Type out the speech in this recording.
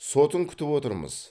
сотын күтіп отырмыз